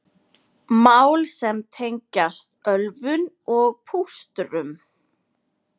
Mál sem tengjast ölvun og pústrum